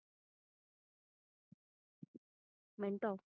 Mintu